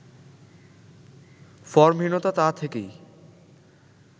ফর্মহীনতা তা থেকেই